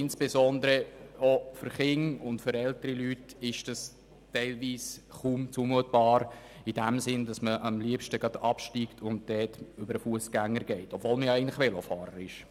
Insbesondere auch für Kinder und für ältere Leute ist dies teilweise kaum zumutbar, sodass man am liebsten gleich vom Velo absteigt und zu Fuss über den Fussgängerstreifen geht, obwohl man eigentlich Velofahrer ist.